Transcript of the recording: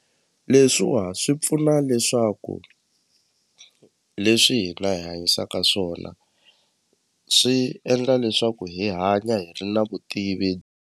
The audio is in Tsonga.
Leswiwa swi pfuna leswaku leswi hina hi hanyisaka swona swi endla leswaku hi hanya hi ri na vutivi.